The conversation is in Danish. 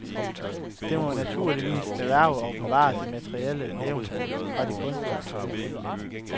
Det må naturligvis erhverve og bevare de materielle levn fra de kunstneriske udfoldelser.